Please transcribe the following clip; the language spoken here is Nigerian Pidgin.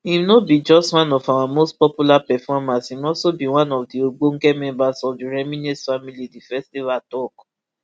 im no be just one of our most popular performers im also be one of di ogbonge members of di reminisce family di festival tok